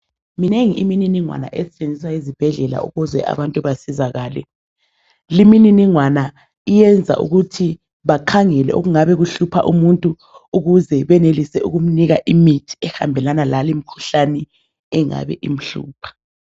Minengi imininingwane esetshenziswa ezibhedlela ukuze abantu basizakale. Limininingwana iyenza ukuthi bakhangele okungàbe kuhlupha umuntu ukuze benelise ukumnika imithi ehàmbelana lalimkhuhlane engabe imhlupha.